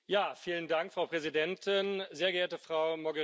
Frau Präsidentin, sehr geehrte Frau Mogherini!